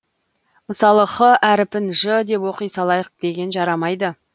мысалы х әріпін ж деп оқи салайық деген жарамайды